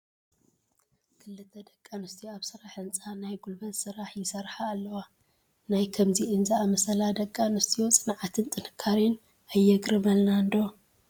ክልተ ደቂ ኣንስትዮ ኣብ ስራሕ ህንፃ ናይ ጉልበት ስራሕ ይሰርሓ ኣለዋ፡፡ ናይ ከምዚአን ዝኣምሰላ ደቂ ኣንስትዮ ፅንዓትን ጥንካረን ኣየግርመልናን ዶ?